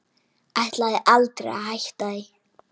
Ætlaði aldrei að hætta því.